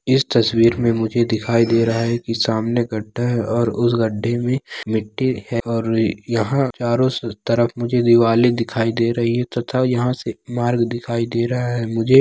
यह आसमान दिख रहा है बादल दिख रहा है और काफ़ी सारे जो है पेड़ पीढ़े दिख रहे है और बहुत बड़ा गौर्मेट दिख रहा है काफ़ी बड़ा समुंदर दिख रहा है|